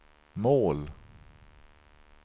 mål